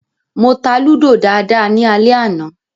Mo ta Lúdò dáadáa ní alẹ́ àná